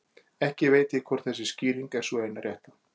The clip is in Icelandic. Ekki veit ég hvort þessi skýring er sú eina rétta.